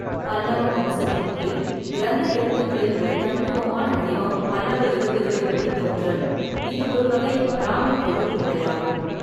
பல்லவ வம்சத்தின் கீழ், கிரந்த எழுத்துக்களின் ஒரு தனித்துவமான வடிவம், பல்லவ எழுத்துகளின் வழித்தோன்றல், இது ஒரு வகை பிராமிக் எழுத்துமுறையாகும்.